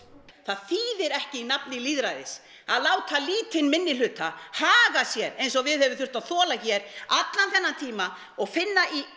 það þýðir ekki í nafni lýðræðis að láta lítinn minnihluta haga sér eins og við höfum þurft að þola hér allan þennan tíma og finna í